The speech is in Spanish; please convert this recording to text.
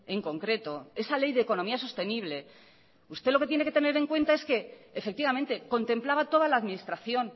en concreto esa ley de economía sostenible usted lo que tiene que tener en cuenta es que efectivamente contemplaba toda la administración